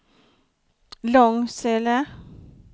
Långsele